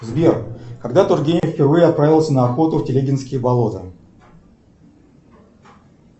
сбер когда тургенев впервые отправился на охоту в телегинские болота